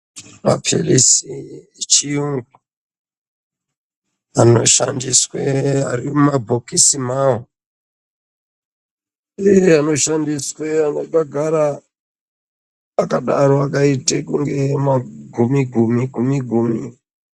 Maphirisi echirungu anoshandiswe arimumabhokisi mawo, uye anoshandiswe akagara akadaro akaite kunge magumi gumi.